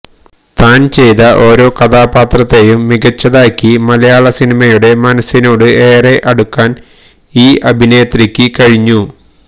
താന് ചെയ്ത ഓരോ കഥാപാത്രത്തെയും മികച്ചതാക്കി മലയാളിയുടെ മനസ്സിനോട് ഏറെ അടുക്കാന് ഈ അഭിനേത്രിക്ക് കഴിഞ്ഞു